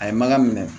A ye mankan minɛ